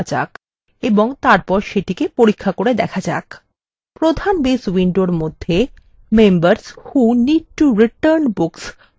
প্রধান base window মধ্যে members who need to return books formএ double ক্লিক করে সেটিকে খুলুন